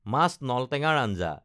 মাছ নলটেঙাৰ আঞ্জা